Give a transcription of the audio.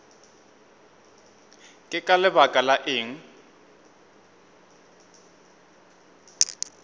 ke ka lebaka la eng